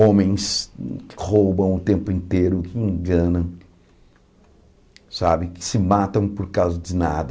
Homens que roubam o tempo inteiro, que enganam, sabe que se matam por causa de nada.